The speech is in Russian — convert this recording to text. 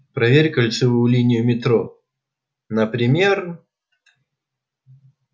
проверь кольцевую линию метро например